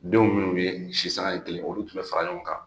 Denw minnu bi si san ye kelen olu tun bɛ fara ɲɔgɔn kan.